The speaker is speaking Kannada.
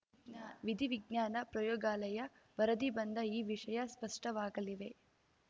ವಿಧಿವಿಜ್ಞಾನ ಪ್ರಯೋಗಾಲಯ ವರದಿ ಬಂದ ಈ ವಿಷಯ ಸ್ಪಷ್ಟವಾಗಲಿದೆ